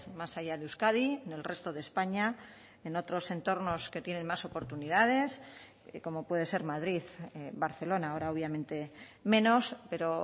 más allá de euskadi en el resto de españa en otros entornos que tienen más oportunidades como puede ser madrid barcelona ahora obviamente menos pero